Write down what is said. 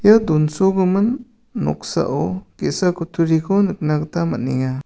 ia donsogimin noksao ge·sa kutturiko nikna gita man·enga.